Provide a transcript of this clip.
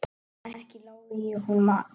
Ekki lái ég honum það.